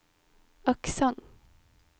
aksent